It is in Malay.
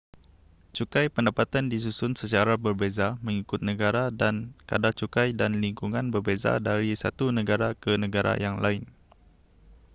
cukai pendapatan disusun secara berbeza mengikut negara dan kadar cukai dan lingkungan berbeza dari satu negara ke negara yang lain